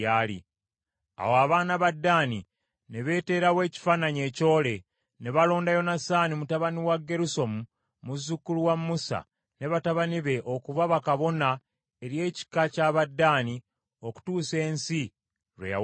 Awo abaana ba Ddaani ne beeterawo ekifaananyi ekyole, ne balonda Yonasaani mutabani wa Gerusomu, muzzukulu wa Musa, ne batabani be okuba bakabona eri ekika ky’Abadaani okutuusa ensi lwe yawambibwa.